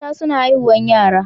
Mata suna haihuwan yara.